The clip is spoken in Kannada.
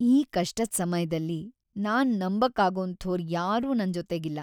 ಈ ಕಷ್ಟದ್ ಸಮಯ್ದಲ್ಲಿ ನಾನ್‌ ನಂಬಕ್ಕಾಗೋಂಥೋರ್ ಯಾರೂ ನನ್‌ ಜೊತೆಗಿಲ್ಲ.